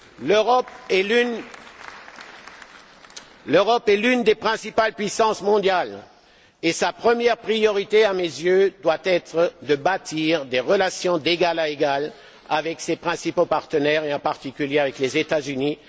L'Europe est l'une des principales puissances mondiales et sa première priorité, à mes yeux, doit être de bâtir des relations d'égal à égal avec ses principaux partenaires et en particulier avec les États Unis.